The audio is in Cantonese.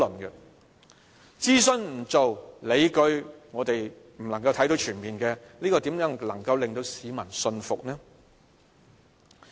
不做諮詢、市民看不到全面的理據，怎能夠令到市民信服呢？